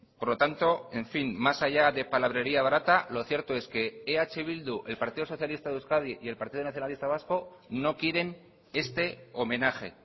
por lo tanto en fin más allá de palabrería barata lo cierto es que eh bildu el partido socialista de euskadi y el partido nacionalista vasco no quieren este homenaje